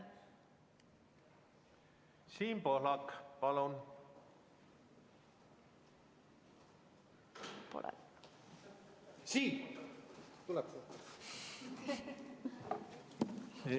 Siim Pohlak, palun!